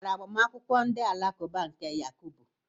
Ị gara agbamakwụkwọ ndị alakụba nke Yakubu?